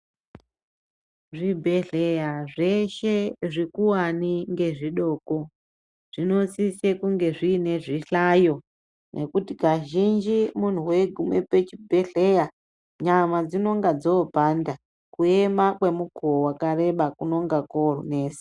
Zvibhehleya zveshe zvikuwani ngezvidoko zvinosisa kunge zvine zvihlayo nekuti kazhinji munhu weigume pazvibhehleya nyama dzinenge dzopanda kuema kwomukowo wakareba kunenga kwonesa.